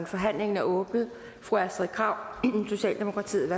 forhandlingen er åbnet fru astrid krag socialdemokratiet